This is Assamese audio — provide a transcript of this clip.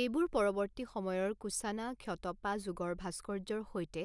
এইবোৰ পৰৱৰ্তী সময়ৰ কুশ্বানা ক্ষতাপা যুগৰ ভাস্কৰ্য্যৰ সৈতে